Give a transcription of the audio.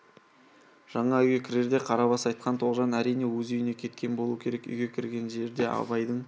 жаңа үйге кірерде қарабас айтқан тоғжан әрине өз үйіне кеткен болу керек үйге кірген жерде абайдың